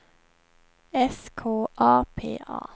S K A P A